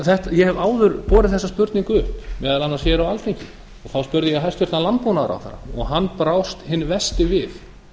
ég hef áður borið þessa spurningu upp meðal annars hér á alþingi þá spurði ég hæstvirtur landbúnaðarráðherra og hann brást hinn versti við